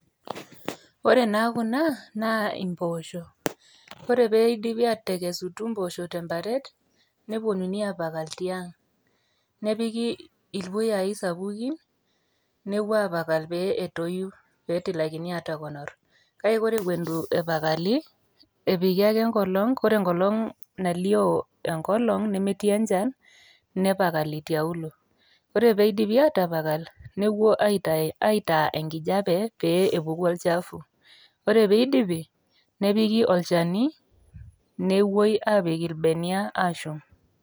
ore naa kuna naa impoosho ore peidipi atekesetu impoosho temparet neponunui apakal tiang nepiki ilpuyai sapukin nepuo apakal pee etoyu petilakini atakonorr kake ore ekuon etu epakali epiki ake enkolong kore enkolong nalio enkolong nemetii enchan nepakali tiaulo ore peidipi atapakal nekuo aitaa enkijape pee epuku olchafu ore peidipi nepiki olchani nepuoi apik irbenia ashum.